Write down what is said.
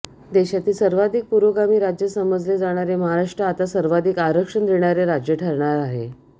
देशातील सर्वाधिक पुरोगामी राज्य समजले जाणारे महाराष्ट्र आता सर्वाधिक आरक्षण देणारे राज्य ठरणार आहे